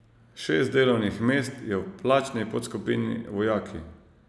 Šest delovnih mest je v plačni podskupini vojaki.